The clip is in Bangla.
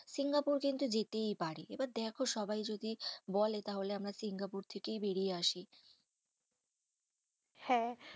সিঙ্গাপুর কিন্তু যেতেই পারি। এবার দেখো সবাই যদি বলে তাহলে আমরা সিঙ্গাপুর থেকেই বেরিয়ে আসি। হ্যাঁ